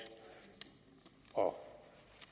og